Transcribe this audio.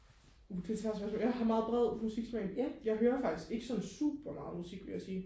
uh det er et svært spørgsmål jeg har bred musiksmag jeg hører faktisk ikke super meget musik vil jeg sige